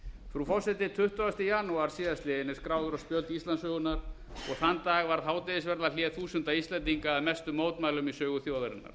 frú forseti tuttugasta janúar síðastliðinn er nú skráður á spjöld íslandssögunnar þann dag varð hádegisverðarhlé þúsunda íslendinga að mestu mótmælum í sögu þjóðarinnar